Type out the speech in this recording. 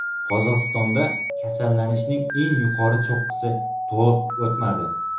Qozog‘istonda kasallanishning eng yuqori cho‘qqisi to‘liq o‘tmadi.